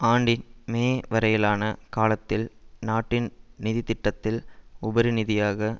ஆண்டின் மே வரையிலான காலத்தில் நாட்டின் நிதி திட்டத்தில் உபரி நிதியாக